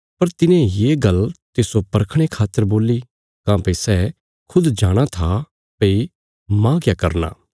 पर तिने ये गल्ल तिस्सो परखणे खातर बोल्ली काँह्भई सै खुद जाणाँ था भई माह क्या करना